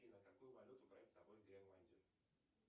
афина какую валюту брать с собой в гренландию